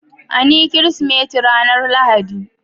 An yi Kirsimeti ranar Lahadi.